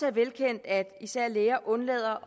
er velkendt at især læger undlader